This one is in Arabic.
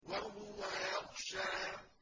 وَهُوَ يَخْشَىٰ